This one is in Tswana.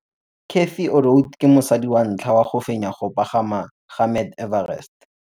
Cathy Odowd ke mosadi wa ntlha wa go fenya go pagama ga Mt Everest.